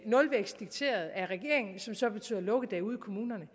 nulvækst dikteret af regeringen som så betyder lukkedage ude i kommunerne